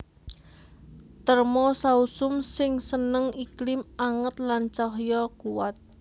Terna sausum sing seneng iklim anget lan cahya kuwat